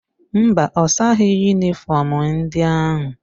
Mba, ọ saghị yunịfọm ndị ahụ.